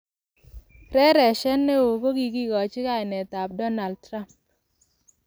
Reresiet ne o kokigochi kainetab Donald Trump